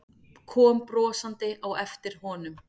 Kom brosandi á eftir honum.